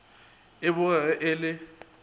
e bogege e le e